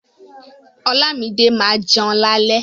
Olámídé ma jẹun lálẹ́.